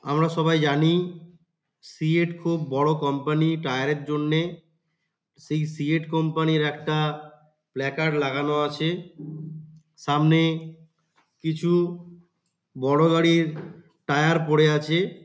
আমরা সবাই জানি সিয়েট খুব বড় কোম্পানি টায়ার -এর জন্যে সেই সিয়েট কোম্পানি -র একটা প্ল্যাকার্ড লাগানো আছে। সামনে কিছু বড় গাড়ির টায়ার পরে আছে।